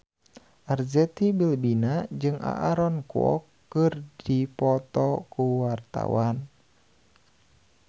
Arzetti Bilbina jeung Aaron Kwok keur dipoto ku wartawan